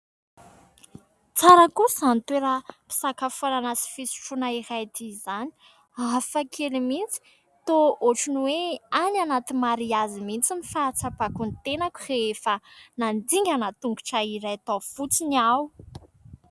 Tsara kosa izany toeram-pisakafoanana sy fisotroana iray ity izany. Hafakely mihintsy ! Toa ohatry ny hoe any anaty mariazy mihintsy ny fahatsapako ny tenako rehefa nandingana tongotra iray tao fotsiny aho.